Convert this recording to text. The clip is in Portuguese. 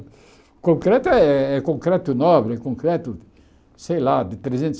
O concreto é é concreto nobre, é concreto, sei lá, de trezentos